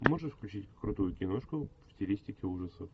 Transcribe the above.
можешь включить крутую киношку в стилистике ужасов